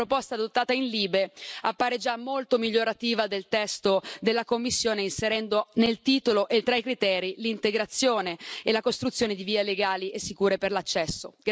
Quindi la proposta adottata in commissione LIBE appare già molto migliorativa del testo della Commissione, inserendo nel titolo e tra i criteri l'integrazione e la costruzione di vie legali e sicure per l'accesso.